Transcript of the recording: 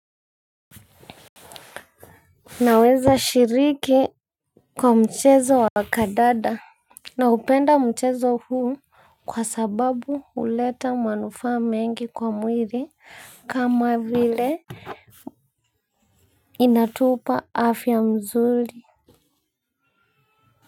Naweza shiriki kwa mchezo wa kandanda. Naupenda mchezo huu kwa sababu huleta manufaa mengi kwa mwili kama vile inatupa afya nzuri.